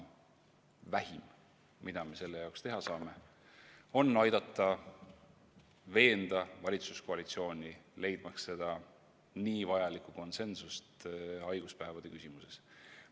Vähim, mida me selle nimel teha saame, on aidata veenda valitsuskoalitsiooni leidma seda nii vajalikku konsensust haiguspäevade küsimuses.